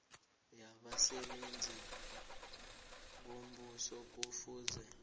yabasebenzi bombuso kufuze